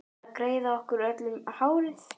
Að greiða okkur öllum hárið.